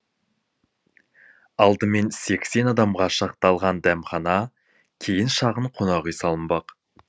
алдымен сексен адамға шақталған дәмхана кейін шағын қонақүй салынбақ